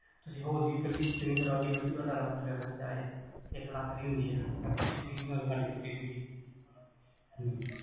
ਹੋਰ ਜੀ ਇਕੱਲੀ ਸੀਲਿੰਗ ਕਰਾਓਂਗੇ ਉਹਦੇ ਚ ਤੁਹਾਡਾ ਲੱਖ ਰੁਪਈਆ ਖ਼ਰਚਾ ਆਏ ਇੱਕ ਲੱਖ ਦੀ ਹੁੰਦੀਆਂ ਮੈਂ ਪੁੱਛੀ ਸੀ ਨਾਲੇ ਗੱਲ ਕੀਤੀ ਸੀ ਗੀ